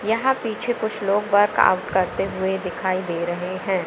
यहां पीछे कुछ लोग वर्क आउट करते हुए दिखाई दे रहे हैं।